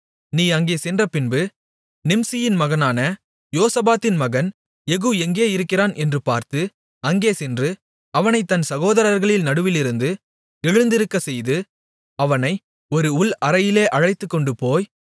நீ அங்கே சென்றபின்பு நிம்சியின் மகனான யோசபாத்தின் மகன் யெகூ எங்கே இருக்கிறான் என்று பார்த்து அங்கே சென்று அவனைத் தன் சகோதரர்களின் நடுவிலிருந்து எழுந்திருக்கச்செய்து அவனை ஒரு உள் அறையிலே அழைத்துக்கொண்டுபோய்